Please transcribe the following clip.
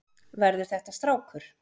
Verður þetta strákur?